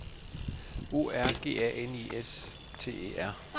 O R G A N I S T E R